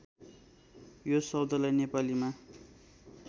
यो शब्दलाई नेपालीमा